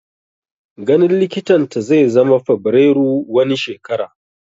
Ganin likitan ta zai zama Fabrairu wani shekara